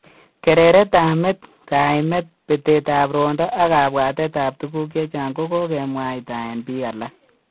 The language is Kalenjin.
Kereret ab met, kaimet, betet ab rwondo ak kabwatet ab tuguk chechang kogogemwaita en bik alak